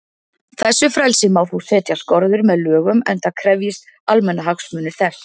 Þessu frelsi má þó setja skorður með lögum, enda krefjist almannahagsmunir þess.